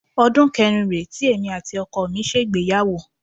Ọdún kẹrin rèé tí èmi àti ọkọ mi ṣègbéyàwó